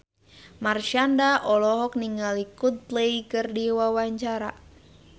Marshanda olohok ningali Coldplay keur diwawancara